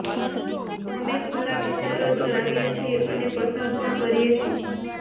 અમે ખુલ્લા વિચારો ધરાવીએ છીએ અને પસંદ પણ કરીએ છીએ